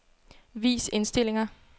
Vis indstillinger.